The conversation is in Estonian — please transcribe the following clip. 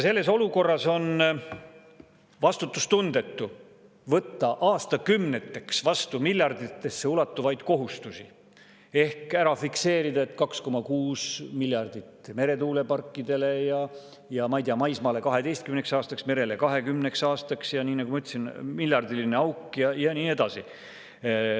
Selles olukorras on vastutustundetu võtta aastakümneteks miljarditesse ulatuvaid kohustusi ehk ära fikseerida, et 2,6 miljardit eurot meretuuleparkidele ja, ma ei tea, maismaale 12 aastaks, merele 20 aastaks, ja nii nagu ma ütlesin, miljardiline auk ja nii edasi.